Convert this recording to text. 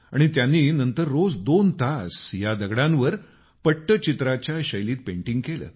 नंतर त्यांनी रोज दोन तास या दगडांवर पट्टचित्राच्या शैलीत पेंटिंग केलं